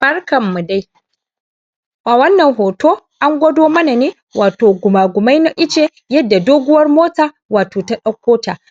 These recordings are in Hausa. barkan mu dai a wannan hoto an gwado mana ne wat wato guma gumai na ice yadda doguwar mota wato ta ab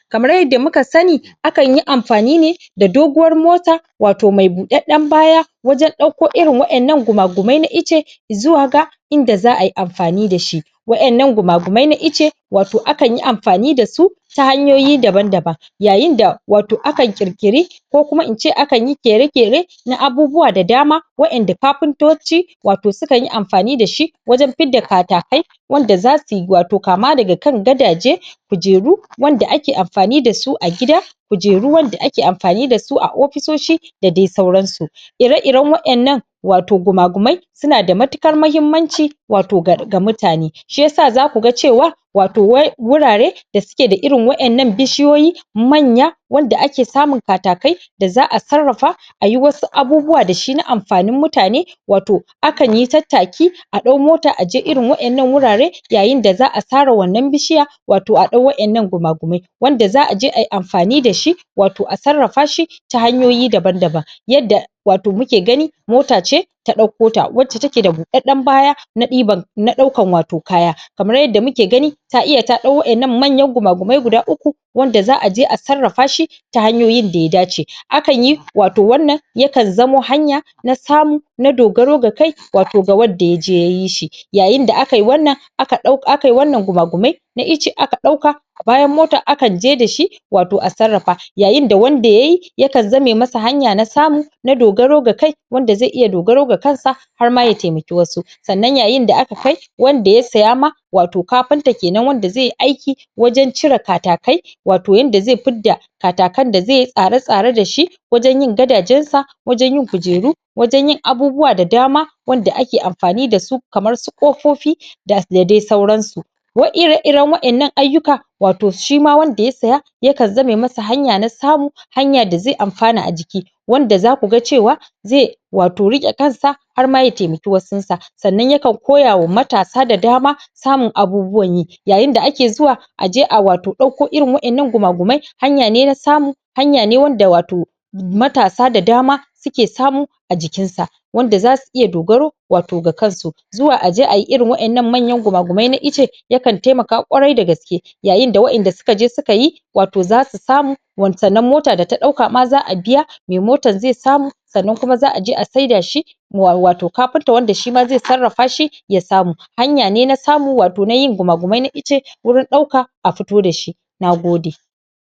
kamar yadda muka sani akan yi anfani ne da doguwar mota wato mai ɓuɗeɗen baya wajen ɗau ko irin waɗannan gumgumai na ice zuwaga inda za ayi anfani da shi waƴannan guma gumai na ice wato akan yi anfani da su ta hanyoyi daba daban yayin da wato akan ƙir ƙiri ko kuma ince ak ƙere ƙere na abubuwa da dama wa ƴanda kafintoci wato suka yi anfni da shi wajan fidda wanda za ti wato kama daga ka gadaje kujeru wanda ake anfani dasu agida kujeru wanda ake anfani dasu a ofisoshi da dai sauran su ire iren wa ƴannan wato guma gumai suna da matukar mahimmanci wato ga mutane shi yasa zakuga cewa wato wai wurare da keda irin wa ƴannan bishi yoyi manya wanda ake samun katakai da za'a sarrafa ayi wasu abubuwa dashi na ani fanin mutane wato akan yi tattaki a ɗau mota aje irin wa ƴannan wurare yayin da za'a sare wannan bishiya wato a dau wa ƴannan guma gumai wanda za'aje ayi anfani dashi wato a sarrafa shi ta hanyoyi daban daban yadda wato muke gani mota ce ta ɗauko ta wanda take dabuɗeɗɗen baya na ɗiban na ɗaukan wato kaya kamar yadda muke gani ta iya ta ɗau waƴannan mayangumagumai guda uku wanda za'a je a sarrafa shi hanyoyin daya dace akan yi wato wannan yakan zamo hanya nas samu na dogaro da kai wato ga wadda yaje yayi shi yayinda akayi wannan aka ɗau akayi wannan guma gumai na ice aka ɗauka bayan mota akan je da shi wato a sarafa, yayinda wanda yayi yakan zame masa hanya na samu na dogaro ga kai wanda zqi iya dogaro ga kansa harma ya taimaki wasu sanan yayin da ak wanda ya saya ma wato kafinta kenan wanda zai yi aiki wajan cire katakai wato yadda zai fidda katakan da zai yi tsara tsaran da shi wajan yin gadajen sa wajen yin kujeru wajen yin abubuwa da dama wanda ake anfani dasu kamae su ƙofofi da, da dai sauran su wai ire ire wa ƴanna ayyuka wato shima wanda yasya yakan zame masa hanya na samu hanya da zai anfana aciki wanda zakuga cewa zai wato riƙe kansa har ma ya taimaki wa sun sa sannan ya koya wa matasa da dama samun abubuwan yi yayin da ake zuwa aje a wato ɗauko irin waɗɗannan gumagumai hanya ne na sa hanya ne wanda wato matasa da dama suke samu ajikin sa wanda zasu iya dogaro wato ga kasu zuwa aje ayi irin waƴannan guma gumai na ice yakan taimaka ƙwarai da gas ke yayin da wa ƴand suksje suka wato zasu samu wa sannan mota da ta ɗauka ma za'a biya mai motan zai samu sannan kuma za'aje a saida shi wa kafinta wanda shima zai sarrafa shi ya samu hanya ne na samu wato na yin guma gumai na ice wurin ɗauka a fito da shi Nagode